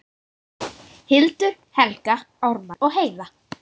Hildur, Helga, Ármann og Heiða.